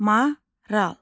Maral.